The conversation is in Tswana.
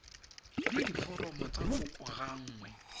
le diforomo tsa kopo gangwe